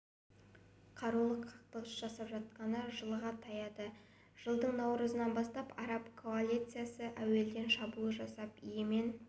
қарулы қақтығыс жалғасып жатқалы жылға таяды жылдың наурызынан бастап араб коалициясы әуеден шабуыл жасап йемен